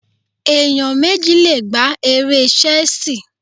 Ẹ̀yàn méjì le gbá eré Ṣẹ́sìì.